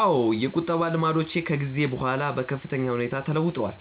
አዎ፣ የቁጠባ ልማዶቼ ከጊዜ በኋላ በከፍተኛ ሁኔታ ተለውጠዋል፤